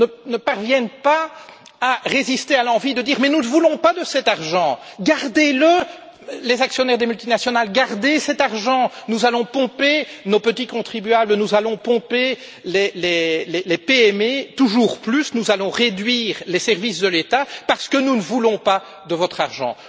ne parviennent pas à résister à l'envie de dire Mais nous ne voulons pas de cet argent, vous, les actionnaires des multinationales, gardez le, nous allons pomper nos petits contribuables, nous allons pomper les PME toujours plus, nous allons réduire les services de l'État, parce que nous ne voulons pas de votre argent.